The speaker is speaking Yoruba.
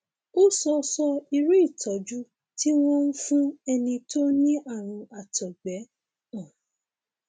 o ò sọ sọ irú ìtọjú tí wọn ń fún ẹni tó ní ààrùn àtọgbẹ um